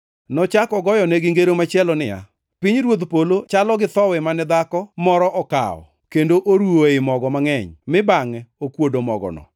Nochako ogoyonegi ngero machielo niya, “Pinyruodh polo chalo gi thowi mane dhako moro okawo kendo oruwo ei mogo mangʼeny mi bangʼe okuodo mogono.”